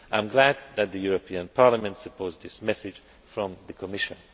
I am glad that the European Parliament supports this message from the Commission.